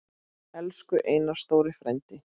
Elsku Einar stóri frændi.